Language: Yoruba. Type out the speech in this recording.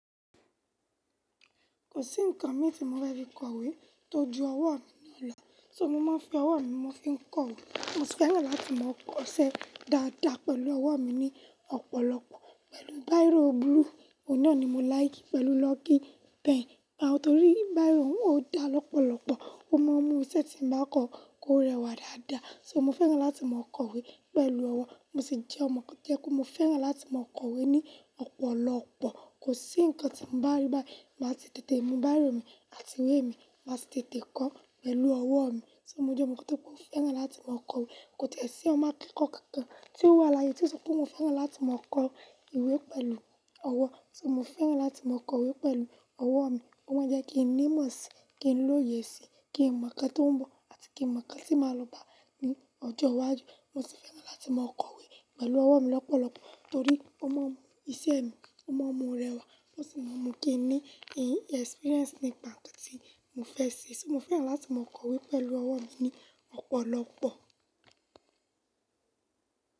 Kò sí ǹkan mi tí mo fe fi ń kọ ìwé tó ju ọwọ́ mi lọ, soo mo máa n fi ọwọ́ mi mo fi ń kọ ìwé. Mo sì fẹ́ràn láti máa kọṣẹ́ dáadáa pẹ̀lú ọwọ́ mi ní ọ̀pọ̀lọpọ̀, pẹ̀lú Bíró búlu, òná ni mo láìkì pẹ̀lú lucky pen, torí bíró ò dá lọ́pọ̀lọpọ̀, ó má a mú iṣẹ́ tí mo ba kọ kó rẹwà dáadáa. So mo fẹ́ràn láti máa kọ ìwé pẹ̀lú ọwọ́, mo sì jẹ́ ọmọkùnrin tí ẹ kú mo fẹ́ràn láti máa kọ ìwé ní ọ̀pọ̀lọpọ̀. Kò sí ǹkan tí mo bá rí báyìí máa sì tètè mu bairo mi àti ìwé mi máa sì tètè kọ́ pẹ̀lú ọwọ́ mi. Mo jẹ́ ọmọkan tíbmo fẹ́ràn láti máa kọ ìwé, kò tie sí ọmọ akẹ́kọ̀ọ́ kankan tí ó wà láyé tí ó sọ pé mo fẹ́ràn láti máa kọ ìwé pẹ̀lú ọwọ́. So mo fẹ́ràn láti máa kọ ìwé pẹ̀lú ọwọ́ mi, ó má n jẹ́ kí n nímọ̀ síi, kí n lóye síi, kí n mọ̀ nǹkan tó ń bọ̀ àti kí n mọ̀ nǹkan tí màá lò bá ní ọjọ́ iwájú. Mo sì fẹ́ràn láti máa kọ ìwé pẹ̀lú ọwọ́ mi lọ́pọ̀lọpọ̀ torí ó má a mú iṣẹ́ mi, ó má a mú u rẹwà ó sì má a mú kí n ní exporence nípa ǹkan tí mo fẹ́ ṣe. So mo fẹ́ràn láti máa kọ ìwé pẹ̀lú ọwọ́ mi ní ọ̀pọ̀lọpọ̀.